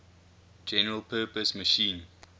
general purpose machine